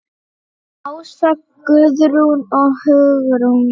Ása, Guðrún og Hugrún.